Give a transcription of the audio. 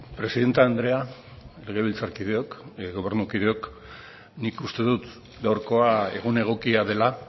presidente andrea legebiltzarkideok gobernukideok nik uste dut gaurkoa egun egokia dela